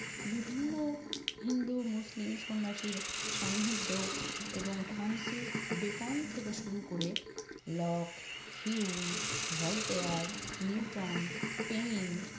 বিভিন্ন হিন্দু, মুসলিম সন্ন্যাসীর সান্নিধ্য এবং ফ্রান্সিস বেকন থেকে শুরু করে Locke, Hume, Voltaire, Newton, pain